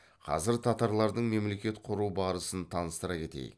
қазір татарлардың мемлекет құру барысын таныстыра кетейік